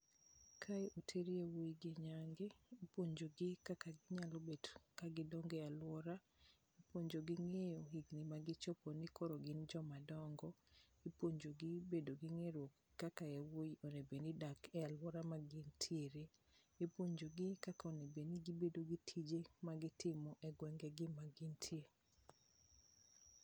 Kae oter jowuowi gi nyangu ipuonjogi kaka ginyalo bet ka gidongo e aluowa, ipuonjogi ng'eyo higni ma gichopo ni koro gin joma dongo, ipuonjo gi bedo gi ng'erruok kaka jowuowi onego bed ni dak e aluora ma gintiere, ipuonjo gi kaka onego bed ni gibedo gi tije magitimo e gwengegi magintie .